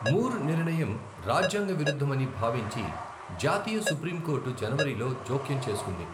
మూర్ నిర్ణయం రాజ్యాంగ విరుద్ధమని భావించి జాతీయ సుప్రీంకోర్టు జనవరిలో జోక్యం చేసుకుంది.